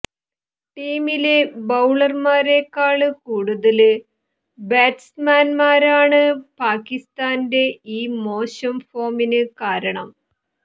ടീമിലെ ബൌളര്മാരേക്കാള് കൂടുതല് ബാറ്റ്സ്മാന്മാരാണ് പാകിസ്താന്റെ ഈ മോശം ഫോമിന് കാരണം